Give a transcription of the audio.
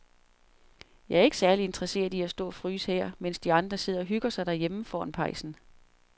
Jeg er ikke særlig interesseret i at stå og fryse her, mens de andre sidder og hygger sig derhjemme foran pejsen.